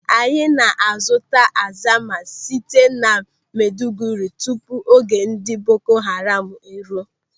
Anyị na-azụta azama site na Maiduguri tupu oge ndị Boko Haram eruo.